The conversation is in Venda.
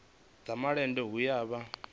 dza malende hu a vha